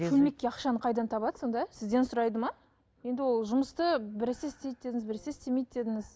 шөлмекке ақшаны қайдан табады сонда сізден сұрайды ма енді ол жұмысты біресе істейді дедіңіз біресе істемейді дедіңіз